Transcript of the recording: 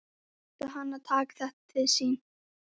Átti hann að taka þetta til sín?